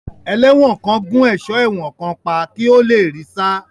Ẹlẹ́wọ̀n kan gún ẹ̀sọ́ ẹ̀wọ̀n kan pa kí ó le rí í sá.